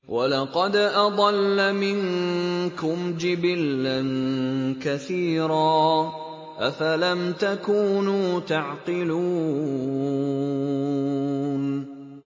وَلَقَدْ أَضَلَّ مِنكُمْ جِبِلًّا كَثِيرًا ۖ أَفَلَمْ تَكُونُوا تَعْقِلُونَ